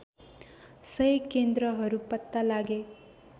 १०० केन्द्रहरू पत्ता लागे